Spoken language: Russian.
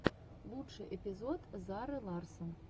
лучший эпизод зары ларссон